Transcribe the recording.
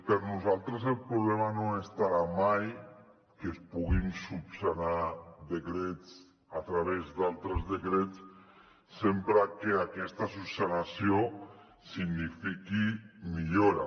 per nosaltres el problema no estarà mai en el fet que es puguin esmenar decrets a través d’altres decrets sempre que aquesta esmena signifiqui millora